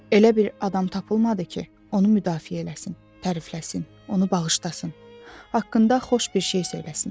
Elə bir adam tapılmadı ki, onu müdafiə eləsin, tərifləsin, onu bağışlasın, haqqında xoş bir şey söyləsin.